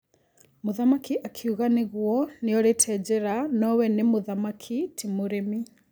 Mũthamaki akiuga atĩ nĩguo nĩorĩte njĩra no we nĩ mũthamaki ti mũrĩmi.